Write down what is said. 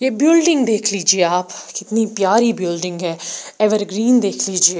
ये बिल्डिंग देख लीजिए आप कितनी प्यारी बिल्डिंग है एवर ग्रीन देख लीजिए।